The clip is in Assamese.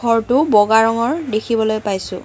ঘৰটো বগা ৰঙৰ দেখিবলৈ পাইছোঁ।